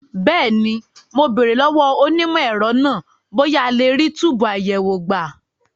Bẹ́ẹ̀ni, mo béèrè lọ́wọ́ onímọ̀ ẹ̀rọ náà bóyá a lè rí túbùù àyẹ̀wò gbà.